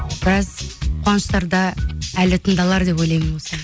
біраз қуаныштарда әлі тыңдалар деп ойлаймын осы ән